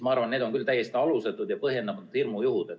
Ma arvan, et need on küll täiesti alusetud ja põhjendamatud hirmujuhud.